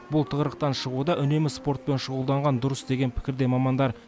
бұл тығырықтан шығуда үнемі спортпен шұғылданған дұрыс деген пікірде мамандар